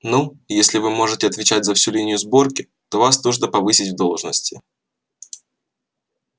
ну если вы можете отвечать за всю линию сборки то вас нужно повысить в должности